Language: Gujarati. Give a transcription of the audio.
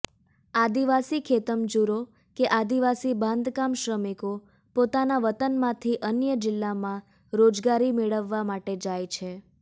આદિવાસી ખેતમજૂરો કે આદિવાસી બાંધકામ શ્રમિકો પોતાના વતનમાંથી અન્ય જીલ્લામાં રોજગારી મેળવવા માટે જાય છે